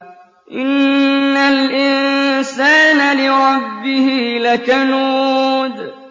إِنَّ الْإِنسَانَ لِرَبِّهِ لَكَنُودٌ